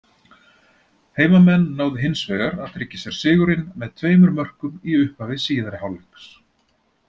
Heimamenn náðu hins vegar að tryggja sér sigurinn með tveimur mörkum í upphafi síðari hálfleiks.